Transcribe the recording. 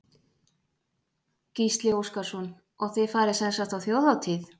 Gísli Óskarsson: Og þið farið sem sagt á Þjóðhátíð?